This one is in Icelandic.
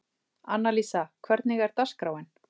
Annalísa, hvernig er dagskráin?